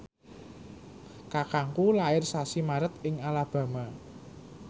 kakangku lair sasi Maret ing Alabama